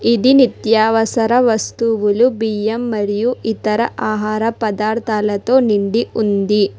ఇది నిత్యావసర వస్తువులు బియ్యం మరియు ఇతర ఆహార పదార్థాలతో నిండి ఉంది.